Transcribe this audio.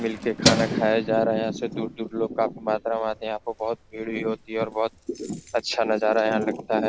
मिलके खाना खाया जा रहा है यहाँ से दूर-दूर लोग काफी मात्रा में आते हैं यहाँ पर बहोत भीड़ भी होती है और बहोत अच्छा नजारा यहाँ लगता है।